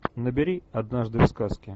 набери однажды в сказке